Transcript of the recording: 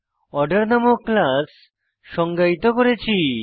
order নামক class সংজ্ঞায়িত করেছি